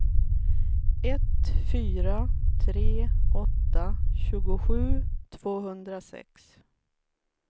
ett fyra tre åtta tjugosju tvåhundrasex